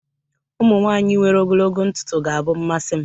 ụmụ nwanyị nwere ogologo ntutu ga-abụ mmasi m